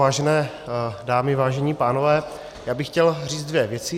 Vážené dámy, vážení pánové, já bych chtěl říct dvě věci.